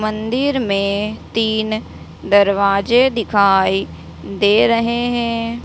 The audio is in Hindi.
मंदिर में तीन दरवाजे दिखाई दे रहे हैं।